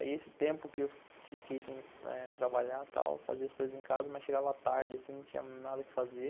Aí esse tempo que eu fiquei sem trabalhar e tal, fazia as coisas em casa, mas chegava tarde, assim, não tinha nada que fazer.